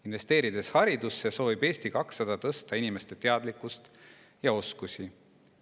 Investeerides haridusse soovib Eesti 200 tõsta inimeste teadlikkust ja oskusi.